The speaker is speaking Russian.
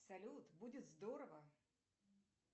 салют будет здорово